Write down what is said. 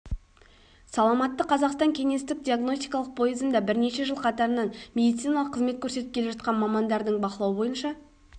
саламатты қазақстан кеңестік диагностикалық пойызында бірнеше жыл қатарынан медициналық қызмет көрсетіп келе жатқан мамандардың бақылауы бойынша